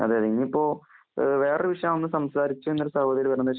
ഇന്നിപ്പോ വേറെ ഒരു വിഷയമാണ്‌ സംസാരിച്ചേന്ന് ഒരു സഹാടരി പറഞ്ഞു.